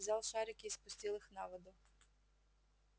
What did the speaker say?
взял шарики и спустил их на воду